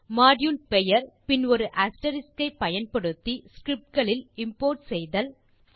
module பெயர் பின் ஒரு அஸ்டெரிஸ்க் ஐ பயன்படுத்தி ஸ்கிரிப்ட் களில் இம்போர்ட் ஐ செய்தல்